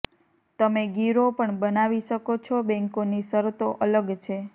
તમે ગીરો પણ બનાવી શકો છો બેન્કોની શરતો અલગ છે